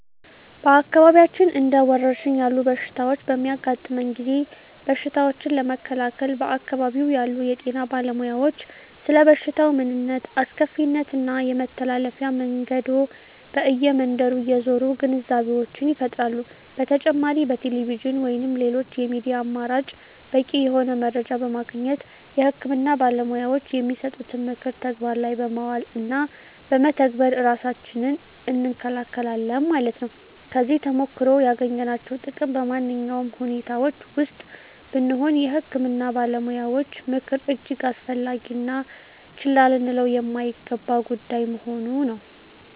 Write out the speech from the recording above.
በአካባቢያችን እንደ ወረርሽኝ ያሉ በሽታዎች በሚያጋጥመን ጊዜ በሽታዎችን ለመከላከል በአካባቢው ያሉ የጤና ባለሞያዎች ስለበሽታው ምንነት አስከፊነት እና የመተላለፊያ መንገዶ በእየ መንደሩ እየዞሩ ግንዛቤወችን ይፈጥራሉ በተጨማሪ በቴሌቪዥን ወይንም ሌሎች የሚዲያ አማራጭ በቂ የሆነ መረጃ በማግኘት የህክምና ባለሞያዎች የሚሰጡትን ምክር ተግባር ላይ በማዋል እና በመተግበር እራሳችንን እንከለከላለን ማለት ነው። ከዚህ ተሞክሮ ያገኘናቸው ጥቅም በማነኛውም ሁኔታወች ወስጥ ብንሆነ የህክምና ባለሞያዎች ምክር እጅግ አስፈላጊ እና ችላ ልንለው የማይገባ ጉዳይ መሆኑ ነው